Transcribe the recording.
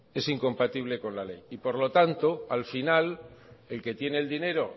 es incompatible con la ley y por lo tanto al final el que tiene el dinero